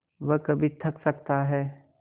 वह कभी थक सकता है